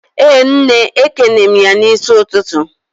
Ee nne, ekene m ya n'isi ututu